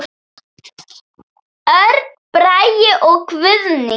Örn Bragi og Guðný.